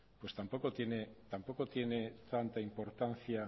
pues tampoco tiene tanta importancia